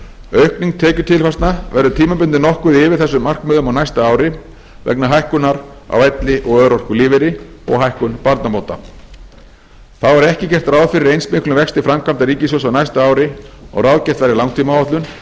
aukning tekjutilfærslna verður tímabundið nokkuð yfir þessum markmiðum á næsta ári vegna hækkunar á elli og örorkulífeyri og hækkun barnabóta þá er ekki gert ráð fyrir eins miklum vexti framkvæmda ríkissjóðs á næsta ári og ráðgert var í langtímaáætlun